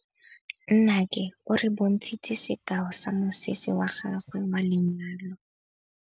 Nnake o re bontshitse sekaô sa mosese wa gagwe wa lenyalo.